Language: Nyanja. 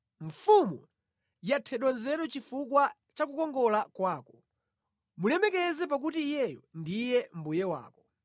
Mfumu yathedwa nzeru chifukwa cha kukongola kwako; mulemekeze pakuti iyeyo ndiye mbuye wako.